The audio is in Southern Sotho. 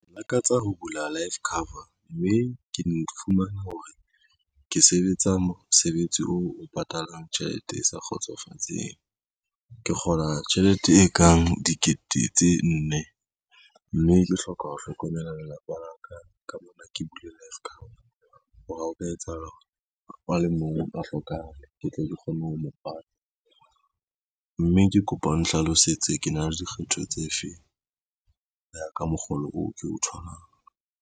Ke lakatsa ho bula life cover, mme ke ne ke fumane hore ke sebetsa mosebetsi oo o patalang tjhelete e sa kgotsofatseng. Ke kgola tjhelete e kang dikete tse nne, mme ke hloka ho hlokomela lelapa la ka, ka mona ke bule life cover hore hao ka etsahala hore e mong a hlokahale, ke tle ke kgone ho mo pata, mme ke kopa o nhlalosetse ke na le dikgetho tse feng ka mokgolo oo ke o tholang.